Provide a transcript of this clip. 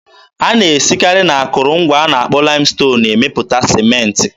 A na-esikarị n'akụrụngwa a na-akpọ laịmston emepụta Sịmentị.